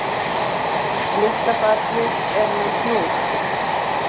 Litla barnið er með hnúð